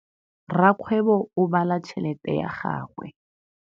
Rakgwêbô o bala tšheletê ya gagwe.